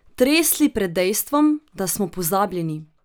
Tresli pred dejstvom, da smo pozabljeni.